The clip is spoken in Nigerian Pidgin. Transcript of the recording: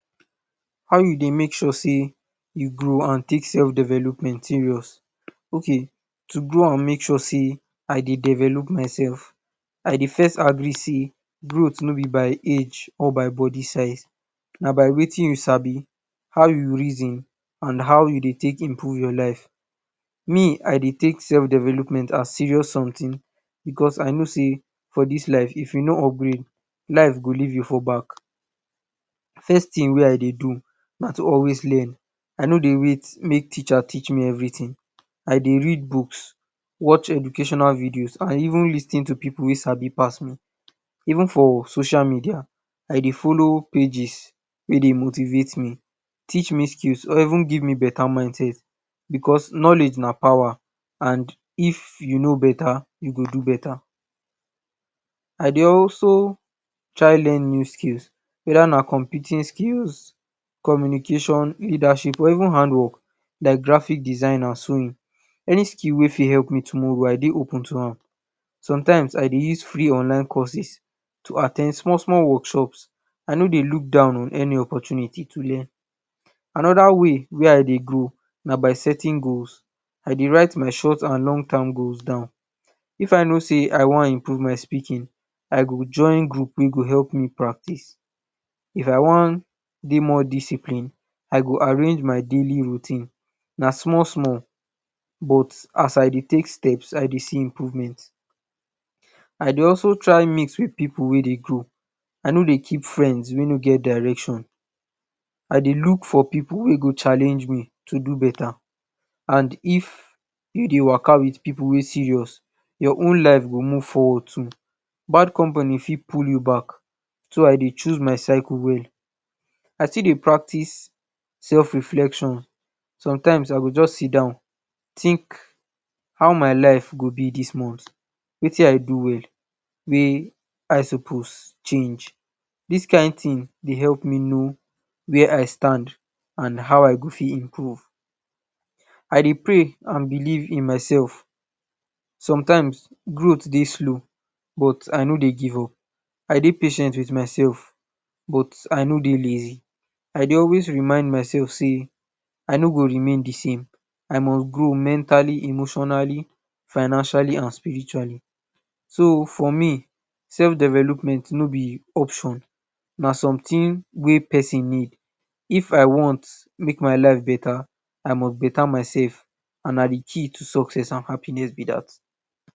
How you dey make sure sey you grow and take self development serious? Okay, to grow and make sure sey I dey develop myself, I dey frist agree sey growth no be by age or body size. Na by watin you sabi, how you reason and how you dey take improve your life, me I dey take self development as serious somtin because I know sey for dis life if you no upgrade, life go leave you for back. First tin wey I dey do na to always learn, I no dey wait make teacher teach me everytin, I dey read books, watch educational videos and even lis ten to pipu wey sabi pass me. Even for social media I dey follow pages wey dey motivate me, teach me skills or even give me beta mindset because knowledge na power and if you know beta, you go do beta. I dey also try learn new tins weda na computing skills, communication, leadership or even hand work like graphic design and sewing. Any skill wey fit help me tomorrow I dey open to am, sometimes I dey ise free online courses to at ten d small small workshops, I no dey look down on any opportunity to learn. Anoda way wey I dey grow na by setting goals, I dey write my short and long term goals down, if I know sey I wan improve my speaking, I go join group wey go help me practice. If I wan dey more disciplined, I go arrange my daily routine, na small small but as I dey take steps, I dey see improvement. I dey also try mix wit pipu wey dey grow, I no dey keep friends wey no get direction, I dey look for pipu wey go challenge me to do beta and if you dey waka wit pipu wey serious your own life go move forward too, bad company fit pull you back so I dey choose my circle well. I still dey practice self reflection, some times I goo just sidon tink how my life go be dis month, tink watin I do well, wia I suppose change, dis kain tin dey help me know wia I stand and how I fit grow. I dey pray and believe in myself, sometimes growth dey slow but I no dey give up, I dey patient wit myself but I no dey lazy. I dey always remind myself sey I no go remain di same, I must grow mentally, emotionally, financially and spiritually. So for me self development no be option, na somtin wey pesin need, if I want make my life beta I muxt beta myseld and na di key to happiness and success be dat